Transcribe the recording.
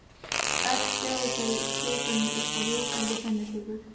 Öll bjóða þau hlaupurum upp á rjúkandi pönnukökur.